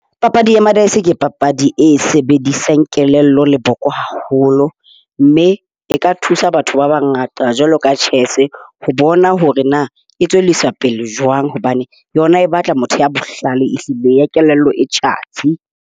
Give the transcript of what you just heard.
Papadi ya madice ke papadi e sebedisang kelello le boko haholo, mme e ka thusa batho ba bangata jwalo ka tjhese ho bona hore na e tswellisa pele jwang hobane yona e batla motho ya bohlale ehlile. Ya kelello e tjhatsi.